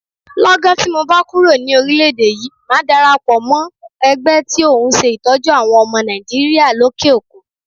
Lọ́gán tí mobá kúròní orílẹ̀ èdè yí, màá darapọ̀ mọ́ ẹgbẹ́ tí ohun ṣe Ìtọ́jú àwọn ọmọ Nàìjíríà lókè òkun.